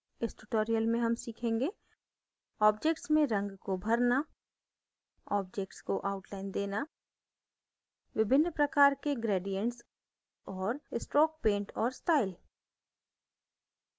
इस tutorial में हम सीखेंगे